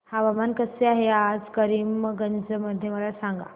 हवामान कसे आहे आज करीमगंज मध्ये मला सांगा